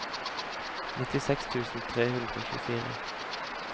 nittiseks tusen tre hundre og tjuefire